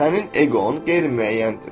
Sənin eqon qeyri-müəyyəndir.